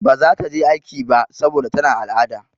Ba za ta je aiki ba saboda tana al'ada.